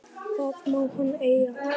Það má hann eiga.